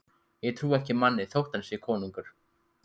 Ég trúi ekki manni þótt hann sé konungur.